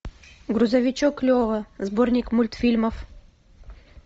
грузовичок лева сборник мультфильмов